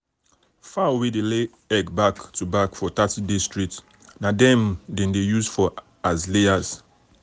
fowl wey dey lay egg back to back for thirty days straight na dem dem dey use for as layers.